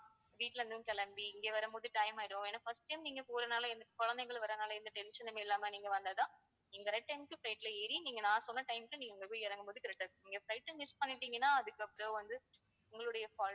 வீட்ல இருந்தும் கிளம்பி இங்க வரும்போது time ஆகிடும் ஏன்னா first time நீங்க போறதுனால குழந்தைகளும் வரதுனால எந்த tension உம் இல்லாம நீங்க வந்தாதான் நீங்க correct time க்கு flight ல ஏறி நீங்க நான் சொன்ன time க்கு நீங்க அங்க போய் இறங்கும்போது correct ஆ இருக்கும் நீங்க flight அ miss பண்ணிட்டீங்கன்னா அதுக்கு அப்பறம் வந்து உங்களுடைய fault